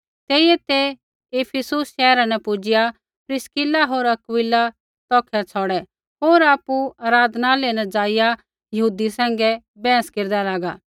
तेइयै ते इफिसुस शैहरा न पुजिआ प्रिस्किला होर अक्विला तौखै छ़ौड़ै होर आपु आराधनालय न ज़ाइआ यहूदी सैंघै बैहस केरदा लागा